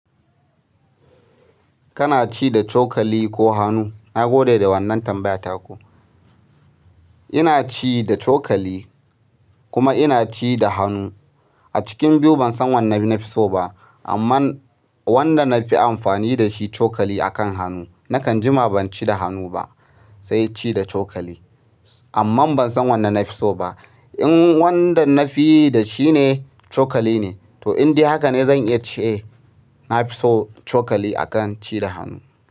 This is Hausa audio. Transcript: Kana ci da cokali ko hannu? Na gode da wannan tambaya taku. Ina ci da cokali kuma ina ci da hannu. A cikin biyu ban san wanne na fi so ba, amma wanda na fi amfani da shi cokali a kan hannu. Nakan jima ban ci da hannu ba, sai ci da cokali. Amma ban san wanne na fi so ba. In wanda nafiyi dashine cokaline to indai hakane zan iya ce nafiso cokali akan ci da hanu.